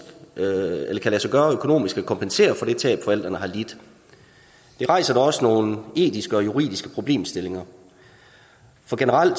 lade sig gøre økonomisk at kompensere for det tab forældrene har lidt det rejser da også nogle etiske og juridiske problemstillinger for generelt